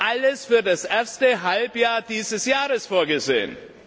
Es war alles für das erste Halbjahr dieses Jahres vorgesehen!